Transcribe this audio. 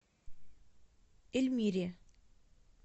эльмире